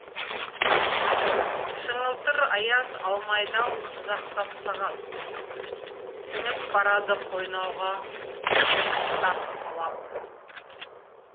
шыңылтыр аяз алмайды ау тызақтап сағат сіңіп барады қойнауға түсі аппақ алап